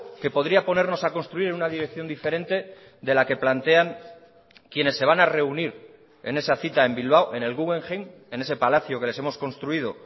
que podría ponernos a construir en una dirección diferente de la que plantean quienes se van a reunir en esa cita en bilbao en el guggenheim en ese palacio que les hemos construido